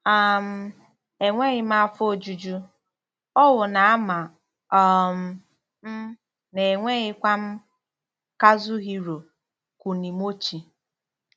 um Enweghị m afọ ojuju, owu na-ama um m, na enweghịkwa m. - KAZUHIRO KUNIMOCHI